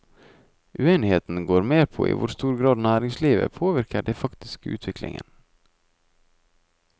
Uenigheten går mer på i hvor stor grad næringslivet påvirket den faktiske utviklingen.